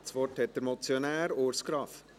Das Wort hat der Motionär, Urs Graf.